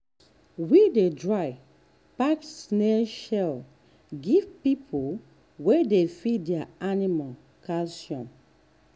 we dey dry pack snail shell give people wey dey feed their animal calcium.